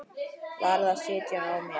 Varð að sitja á mér.